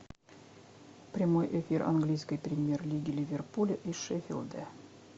прямой эфир английской премьер лиги ливерпуля и шеффилда